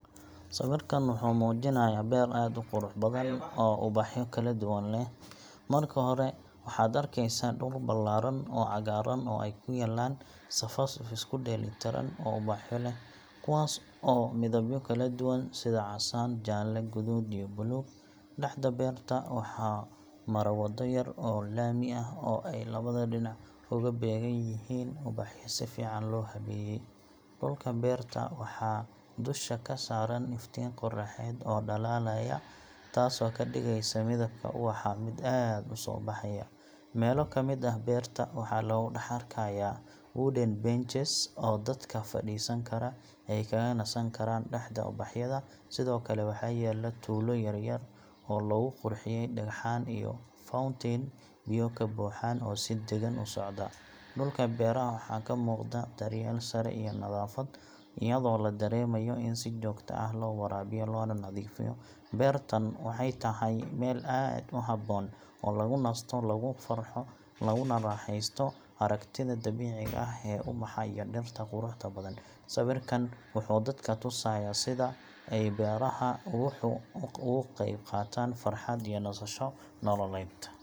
Sawirkan wuxuu muujinayaa beer aad u qurux badan oo ubaxyo kala duwan leh. Marka hore, waxaad arkeysaa dhul ballaaran oo cagaaran oo ay ku yaalliin safaf isku dheelitiran oo ubaxyo ah, kuwaas oo leh midabyo kala duwan sida casaan, jaalle, guduud iyo buluug. Dhexda beerta waxaa mara waddo yar oo laami ah, oo ay labada dhinac uga beegan yihiin ubaxyo si fiican loo habeeyey. Dhulka beerta waxaa dusha ka saaran iftiin qoraxeed oo dhalaalaya, taasoo ka dhigaysa midabka ubaxa mid aad u soo baxaya. Meelo ka mid ah beerta waxaa lagu dhex arkayaa wooden benches oo dadka fadhiisan kara ay kaga nasan karaan dhexda ubaxyada. Sidoo kale, waxaa yaalla tuulo yar oo lagu qurxiyey dhagxaan iyo fountain biyo ka buuxaan oo si deggan u socda. Dhulka beeraha waxaa ka muuqda daryeel sare iyo nadaafad, iyadoo la dareemayo in si joogto ah loo waraabiyo loona nadiifiyo. Beertan waxay tahay meel aad u habboon oo lagu nasto, lagu farxo, laguna raaxeysto aragtida dabiiciga ah ee ubaxa iyo dhirta quruxda badan. Sawirkan wuxuu dadka tusayaa sida ay beeraha ubaxu uga qayb qaataan farxad iyo nasasho nololeed.